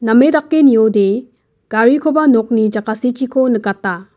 dake niode garikoba nokni jakasichiko nikata.